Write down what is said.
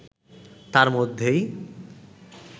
তার মধ্যেই